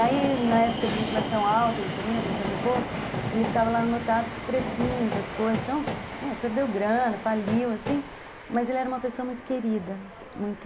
Aí na época de inflação alta, oitenta, oitenta e poucos, ele ficava lá anotado com os precinhos das coisas, então perdeu grana, faliu, assim, mas ele era uma pessoa muito querida, muito...